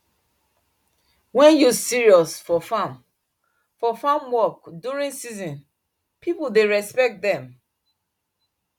when youth serious for farm for farm work during season people dey respect dem